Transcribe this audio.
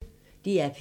DR P1